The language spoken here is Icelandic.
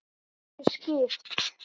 Geturðu skipt?